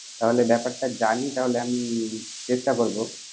তাহলে ব্যাপারটা জানি তাহলে আমি চেষ্টা করব